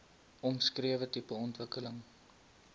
omskrewe tipe ontwikkeling